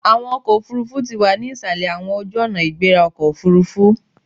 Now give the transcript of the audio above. Awọn ọkọ ofurufu ti wa ni isalẹ awọn ojuonaigberaokoofurufu